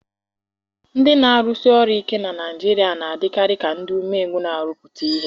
Ndị na-arụsi ọrụ ike na Naijiria a na-adịkarị ka ndị umengwụ na-arụpụta ihe.